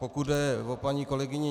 Pokud jde o paní kolegyni